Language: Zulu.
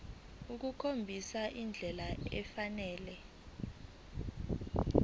ukukhombisa indlela efanele